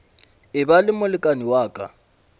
eba le molekane wa ka